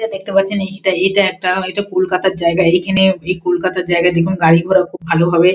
এটা দেখতে পারছেন এটা একটা কলকাতা জায়গা এখানে এই কলকাতার এই জায়গায় দেখুন গাড়ি ঘোড়া খুব ভালো হবে।